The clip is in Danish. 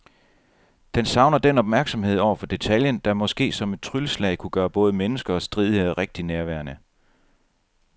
Den savner den opmærksomhed over for detaljen, der måske som et trylleslag kunne gøre både mennesker og stridigheder rigtig nærværende.